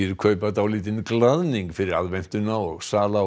kaupa dálítinn glaðning fyrir aðventuna og sala á